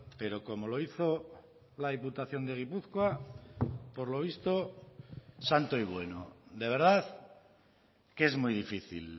pero como lo hizo la diputación de gipuzkoa por lo visto santo y bueno de verdad que es muy difícil